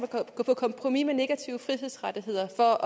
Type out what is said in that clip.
gå på kompromis med negative frihedsrettigheder for